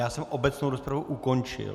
Já jsem obecnou rozpravu ukončil.